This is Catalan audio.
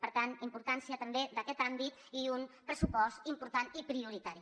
per tant importància també d’aquest àmbit i un pressupost important i prioritari